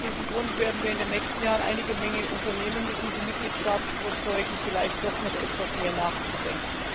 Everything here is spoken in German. Aus diesem Grund werden wir in den nächsten Jahren eine Menge unternehmen müssen, um die Mitgliedstaaten zu überzeugen, vielleicht doch noch etwas mehr nachzudenken.